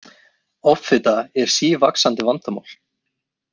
Offita er sívaxandi vandamál.